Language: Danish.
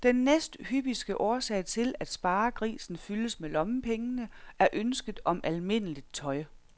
Den næsthyppigste årsag til, at sparegrisen fyldes med lommepengene, er ønsket om almindeligt tøj.